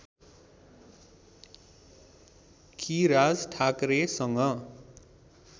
कि राज ठाकरेसँग